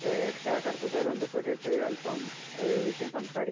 രക്ഷാകര്‍ത്ത്വത്തവുമായി ബന്ധപെട്ടിട്ടു അല്പം വിഷയം സംസാരിക്കാ